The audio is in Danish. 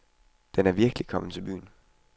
Den er virkelig kommet til byen.